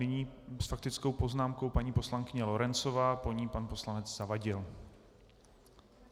Nyní s faktickou poznámkou paní poslankyně Lorencová, po ní pan poslanec Zavadil.